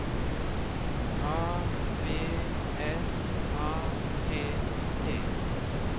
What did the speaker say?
A V S A T T